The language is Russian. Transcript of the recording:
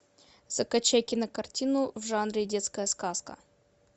закачай кинокартину в жанре детская сказка